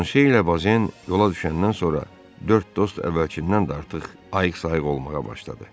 Planşelə Bozen yola düşəndən sonra dörd dost əvvəlkindən də artıq ayıq-sayıq olmağa başladı.